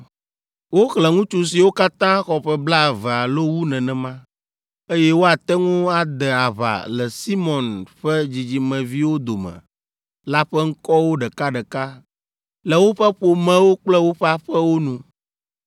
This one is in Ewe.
Woxlẽ ŋutsu siwo katã xɔ ƒe blaeve alo wu nenema, eye woate ŋu ade aʋa le Simeon ƒe dzidzimeviwo dome la ƒe ŋkɔwo ɖekaɖeka le woƒe ƒomewo kple woƒe aƒewo nu.